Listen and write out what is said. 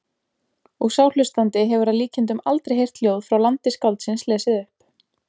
Og sá hlustandi hefur að líkindum aldrei heyrt ljóð frá landi skáldsins lesið upp.